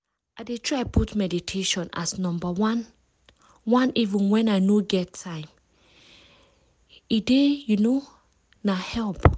i dey try put meditation as number oneeven when i no get time - e time - e dey you know na help.